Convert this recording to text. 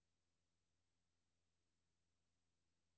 samfund samfund samfund